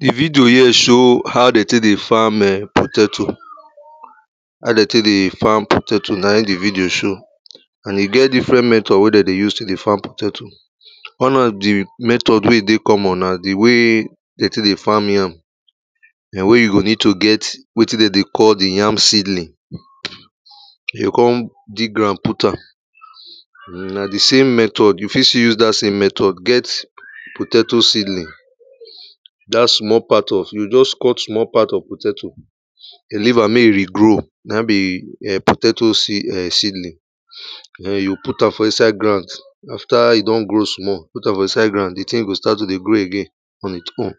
Di video here show how dem take dey farm [urn] potato, how dem take dey farm potato na im di video show. And e get different method wen dem dey use take dey farm potato, one of di method wey e dey common na di way dem take dey farm yam wey you go need to get wetin dem dey call di ya seedling, you go come dig ground put am, [urn] na di same method, you fit still use dat same method get potato seedling. Dat small part of, you go just cut small part of potato, you leave am make e regrow na im be [urn] potato [urn] seedling, you go put am for inside ground, after e don grow small, you go put am for inside ground. di thing go start to dey grow again on e won,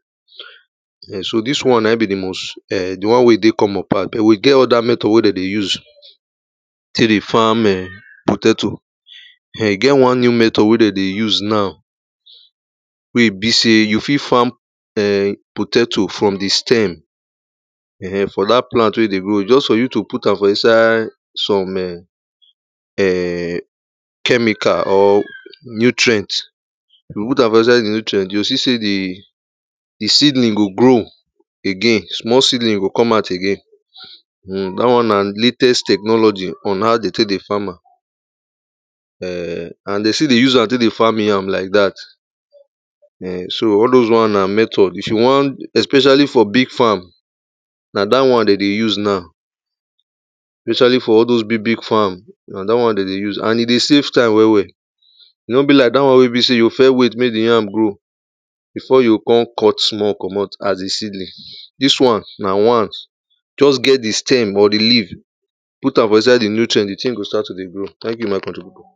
so dis na im be di most [urn] di one wey common pass, but we get oda method wey dem dey use, take dey farm [urn] potato [urn] e get one new method wen dem dey use now, we e be sey you fit farm [urn] potato form di stem [urn] from dat plant wey e dey grow, just for you to put am for inside some [urn] chemical or nutrient, you go put am for inside di nutrient, you go see sey, di di seedling go grow again, small seedling go come out again, [urn] dat one na latest technology on how dem take dey farm am [urn] and dem still dey use am take dey farm yam like dat. [urn] so all doz one na method, if you wan, especially for big farm, na dat one dem dey use now, especially for all doz big big farm, na dat one dem dey use and e dey save time well well. E no be like dat one wey e be sey you go first wait make di yam grow before you go come cut small komot as di seedling, dis one na one, just get di stem or di leaf, put am for inside di nutrient, di thing go start to dey grow, thank you my people.